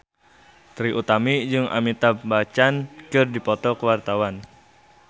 Trie Utami jeung Amitabh Bachchan keur dipoto ku wartawan